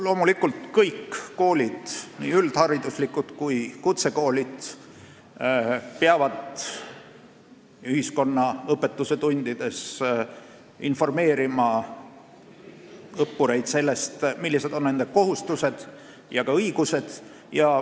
Loomulikult, kõik koolid, nii üldhariduslikud kui ka kutsekoolid, peavad ühiskonnaõpetuse tundides informeerima õppureid sellest, millised on nende kohustused ja ka õigused.